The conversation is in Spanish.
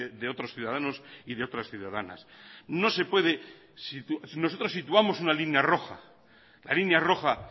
de otros ciudadanos y de otras ciudadanas no se puede nosotros situamos una línea roja la línea roja